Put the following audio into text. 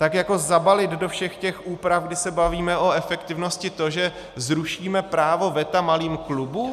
Tak jako zabalit do všech těch úprav, kdy se bavíme o efektivnosti, to, že zrušíme právo veta malým klubům?